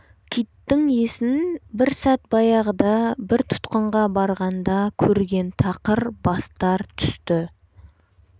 киттің есін бір сәт баяғыда бір тұтқынға барғанда көрген тақыр бастар түсті